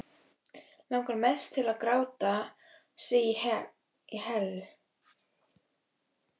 Langar mest til að gráta sig í hel.